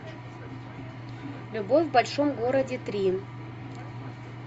любовь в большом городе три